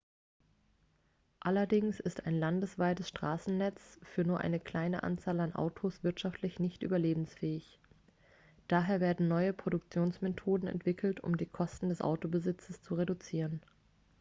allerdings ist ein landesweites straßennetz für nur eine kleine anzahl an autos wirtschaftlich nicht überlebensfähig daher werden neue produktionsmethoden entwickelt um die kosten des autobesitzes zu reduzieren